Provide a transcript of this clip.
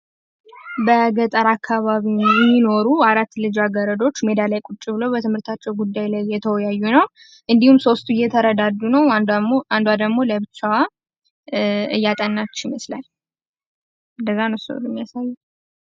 በገጠር አካባቢ የሚኖሩ አራት ልጃገረዶች ሜዳ ላይ ቁጭ ብለው በትምህርታቸው ጉዳይ ላይ እየተወያዩ ነው። እንዲሁም ሶስቱ እየተረዳዱ ነው አንዷ ደግሞ እያጠናች ይመስላል።